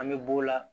An bɛ b'o la